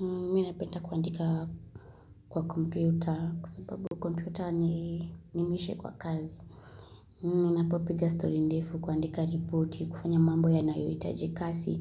Mimi napenda kuandika kwa kompyuta kwa sababu kompyuta ni nimishe kwa kazi. Minapopiga story ndefu kuandika ripoti, kufanya mambo yanayo hitaji kasi.